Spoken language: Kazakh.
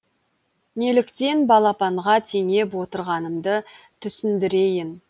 неліктен балапанға теңеп отырғанымды түсіндірейін